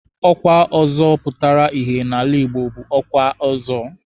Ọkwa ọzọ pụtara ìhè n'ala Igbo bụ ọkwa Ọzọ.